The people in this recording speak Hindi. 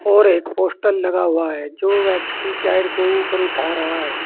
और एक पोस्टर लगा हुआ है जो व्यक्ति टायर को ऊपर उठा रहा है।